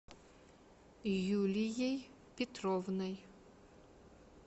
юлией петровной